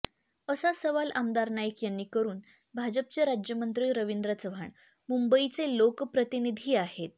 असा सवाल आमदार नाईक यांनी करून भाजपचे राज्यमंत्री रवींद्र चव्हाण मुंबईचे लोकप्रतिनिधी आहेत